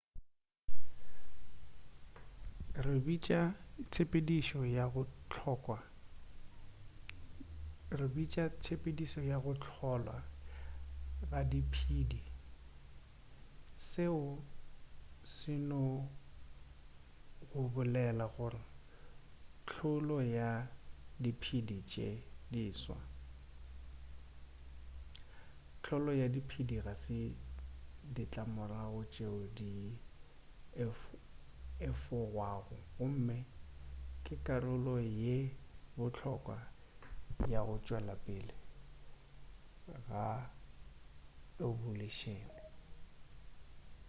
re bitša tshepedišo ya go hlolwa ga diphedi seo se no go bolela gore hlolo ya diphedi tše diswa hlolo ya diphedi ga se ditlamorago tšeo di ka efogwago gomme ke karolo ye bohlokwa ya go tšwela pele ga ebolušene